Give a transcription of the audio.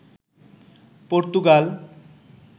Portugal